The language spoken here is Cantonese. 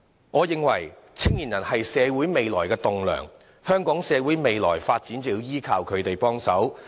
我認為，青年人是社會未來棟樑，未來香港社會的發展便要依賴他們。